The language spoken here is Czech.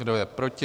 Kdo je proti?